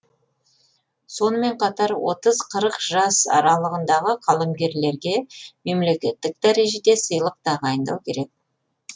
сонымен қатар отыз қырық жас аралығындағы қаламгерлерге мемлекеттік дәрежеде сыйлық тағайындау керек